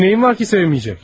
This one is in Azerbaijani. Senin neyin var ki sevmeyecek?